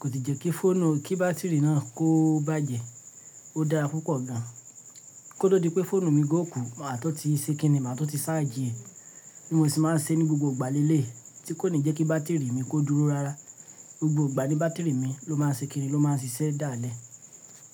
Kò tí jẹ́ kí bá́tìrì náà kó bàjẹ́. Ó dára púpọ̀ gan an. Kó tó di pé fóònù mi ò kù maa tun ti ṣe kínní, màa tun ti sáàjì ẹ. Bí mo ṣe máa ń ṣe ní gbogbo ìgbà leleyi, tí kò ní jẹ́ kí bá́tìrì mi kó dúró rárá. Gbogbo ìgbà ni bá́tìrì mi ló máa ń ṣe kínní, ló máa ń ṣiṣẹ́ dáálẹ̀.